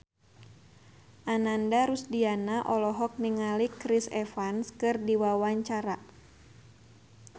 Ananda Rusdiana olohok ningali Chris Evans keur diwawancara